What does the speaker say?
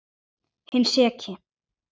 Hinn seki.